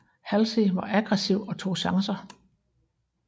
Halsey var aggressiv og tog chancer